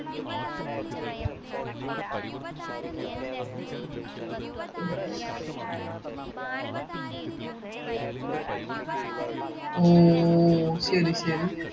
ഓ ശെരി ശെരി